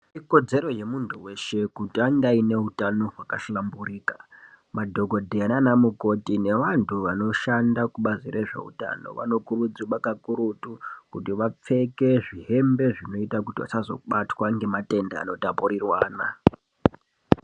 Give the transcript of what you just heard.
Ikodzero yemuntu weshe kuti ange aine utano hwakahlamburika madhokodheya nana mukoti nevantu vanoshanda kubazi rezveutano vabokurudzirwa kakurutu kuti vapfeke zvihembe zvinoita kuti vasazobatwa ngematenda anotapurirwana.